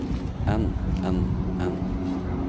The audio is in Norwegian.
enn enn enn